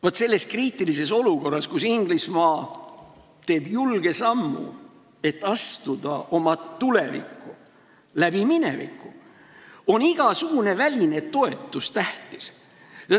Vaat, selles kriitilises olukorras, kus Inglismaa teeb julge sammu, et astuda oma tulevikku läbi mineviku, on igasugune väline toetus tähtis.